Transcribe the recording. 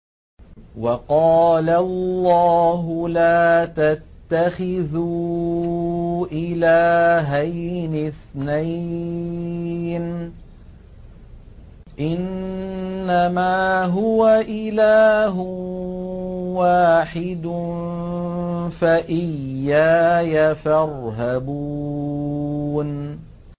۞ وَقَالَ اللَّهُ لَا تَتَّخِذُوا إِلَٰهَيْنِ اثْنَيْنِ ۖ إِنَّمَا هُوَ إِلَٰهٌ وَاحِدٌ ۖ فَإِيَّايَ فَارْهَبُونِ